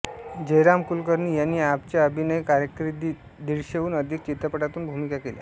जयराम कुलकर्णी यांनी आपच्या अभिनय कारकिर्दीत दीडशेहून अधिक चित्रपटांतून भूमिका केल्या